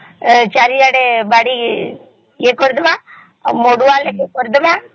ଚାରିଆଡେ ବାଡ଼ି କ୍ରୀଡ଼ାମ ଆଉ ମଢୁଆ ଟିକେ କରିଡ଼ମା